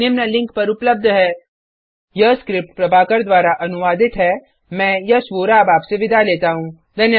spoken hyphen tutorial dot ORG slash NMECT hyphen intro यह script Prabhakar द्वारा अनुवादित है मैं यश वोरा अब आपसे विदा लेता हूँ